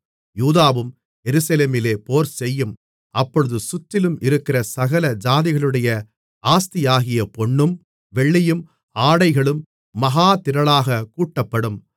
யூதாவும் எருசலேமிலே போர்செய்யும் அப்பொழுது சுற்றிலும் இருக்கிற சகல ஜாதிகளுடைய ஆஸ்தியாகிய பொன்னும் வெள்ளியும் ஆடைகளும் மகா திரளாகக் கூட்டப்படும்